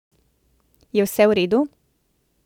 Je vse v redu?